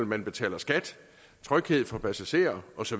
man betaler skat tryghed for passagerer osv